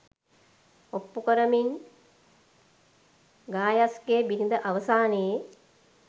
ඔප්පු කරමින් ගායස්ගේ බිරිඳ අවසානයේ